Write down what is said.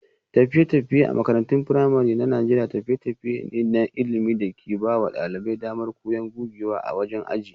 Tafiye-tafiye a makarantun firamare na Najeriya tafiye-tafiye ne na ilimi da ke ba wa ɗalibai damar koyon gogewa a wajen aji.